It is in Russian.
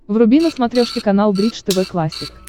вруби на смотрешке канал бридж тв классик